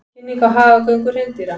Kynning á hagagöngu hreindýra